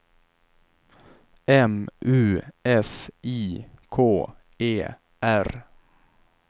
M U S I K E R